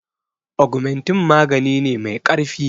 Augmentin magani ne mai ƙarfi.